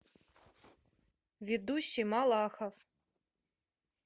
ведущий малахов